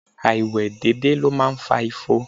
Áìwe dédé ló máa ń fa ifo.